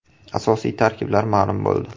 Asosiy tarkiblar ma’lum bo‘ldi.